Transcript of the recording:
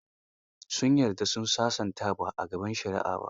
Sun yarda su sasanta ba a gaban shari'a ba.